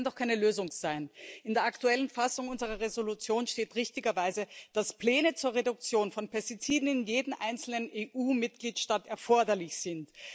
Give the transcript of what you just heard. Das kann doch keine Lösung sein! In der aktuellen Fassung unserer Entschließung steht richtigerweise, dass Pläne zur Reduktion von Pestiziden in jedem einzelnen EU Mitgliedstaat erforderlich sind.